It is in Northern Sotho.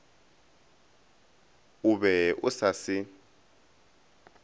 o be o sa se